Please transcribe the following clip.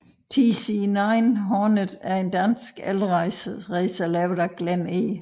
TC9 Hornet er en dansk elracer lavet af Glenn E